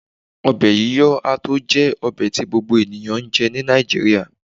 obe yiyo a to je obe ti gbogbo eniyan njé ni Naijiria